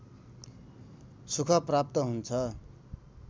सुख प्राप्त हुन्छ